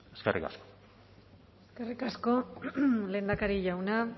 eskerrik asko eskerrik asko lehendakari jauna